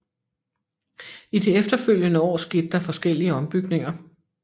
I de efterfølgende år skete der forskellige ombygninger